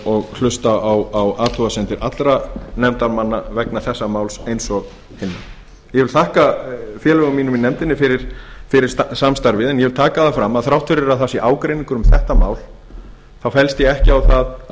og hlusta á athugasemdir allra nefndarmanna þessa máls eins og hinna ég vil þakka félögum mínum í nefndinni fyrir samstarfið en ég vil taka það fram að þrátt fyrir að það sé ágreiningur um þetta þá fellst ég ekki á að